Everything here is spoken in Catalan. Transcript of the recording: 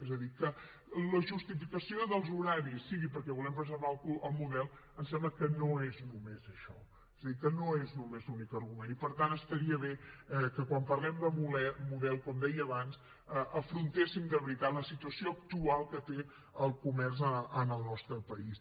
és a dir que la justificació dels horaris sigui perquè volem preservar el model ens sembla que no és només això és a dir que no és només l’únic argument i per tant estaria bé que quan parlem de model com deia abans afrontéssim de veritat la situació actual que té el comerç en el nostre país